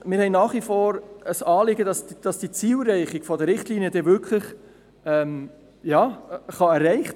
Es ist uns nach wie vor ein Anliegen, dass die Zielerreichung der Richtlinien möglich ist.